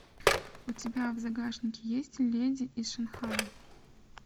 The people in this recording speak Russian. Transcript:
у тебя в загашнике есть леди из шанхая